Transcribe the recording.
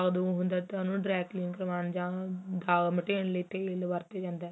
ਦਾਂਗ ਦੁਗ ਹੁੰਦਾ ਤਾ ਉਹਨੂੰ dryclean ਕਰਵਾਉਣ ਤੇਲ ਵਰਤਿਆ ਜਾਂਦਾ ਹੈ